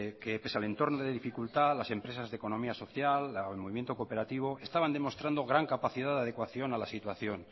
que pese al entorno de dificultad las empresas de economía social el movimiento cooperativo estaban demostrando gran capacidad de adecuación a la situación